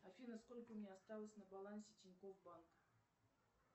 афина сколько у меня осталось на балансе тинькофф банк